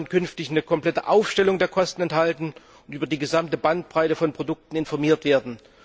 Die Kunden sollen künftig eine komplette Aufstellung der Kosten erhalten und über die gesamte Bandbreite von Produkten informiert werden.